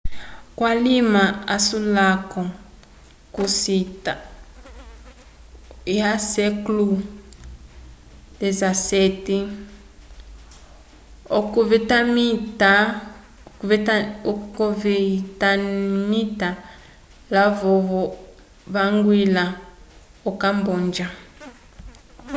k'alima asulako k'ocita xviii olovyetenamita lavovo vañgilĩla o-camboja